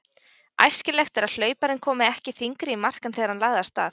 Æskilegt er að hlauparinn komi ekki þyngri í mark en þegar hann lagði af stað.